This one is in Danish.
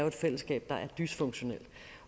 et fællesskab der er dysfunktionelt